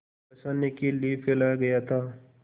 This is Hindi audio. फँसाने के लिए फैलाया गया था